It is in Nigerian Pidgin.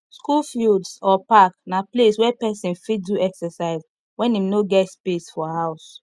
school fields or park na place wey persin fit do exercise when im no get space for house